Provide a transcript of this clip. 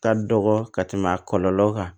Ka dɔgɔ ka tɛmɛ a kɔlɔlɔ kan